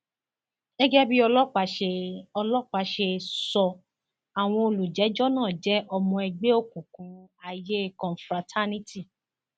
gẹgẹ bí ọlọpàá ṣe ọlọpàá ṣe sọ àwọn olùjẹjọ náà jẹ ọmọ ẹgbẹ òkùnkùn aiye confraternity